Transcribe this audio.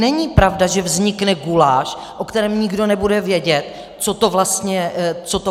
Není pravda, že vznikne guláš, ve kterém nikdo nebude vědět, co to vlastně za zákon je.